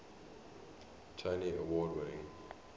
tony award winning